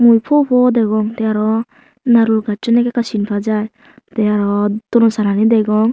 mui fo fo degong te aro nareul gachun ekka ekka sin pajai te aro ton no sala ni degong.